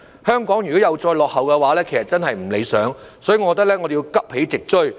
香港如果又再落後的話，其實真是不理想，所以我認為我們要急起直追。